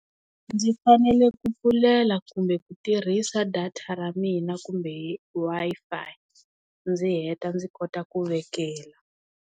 Ndzi fanele ku pfulela kumbe ku tirhisa data ra mina kumbe Wi-Fi ndzi heta ndzi kota ku vekela.